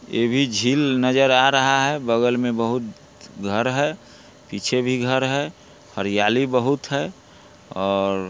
ये भी झील नजर आ रहा है| बगल में बहुत घर है पीछे भी घर है हरियाली बहुत है और--